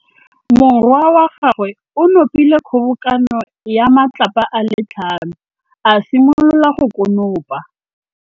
Morwa wa gagwe o nopile kgobokanô ya matlapa a le tlhano, a simolola go konopa.